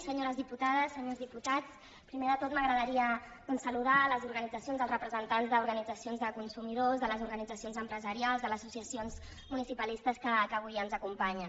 senyores diputades senyors diputats primer de tot m’agradaria doncs saludar les organitzacions els representants d’organitzacions de consumidors de les organitzacions empresarials de les associacions municipalistes que avui ens acompanyen